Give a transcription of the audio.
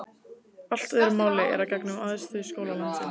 Allt öðru máli er að gegna um æðstu skóla landsins.